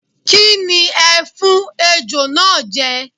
Kí ni ẹ fún Ejò náà jẹ?